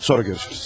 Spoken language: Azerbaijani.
Sonra görüşürüz.